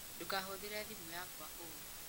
Ndũkahũthĩre thimũ yakwa ũũru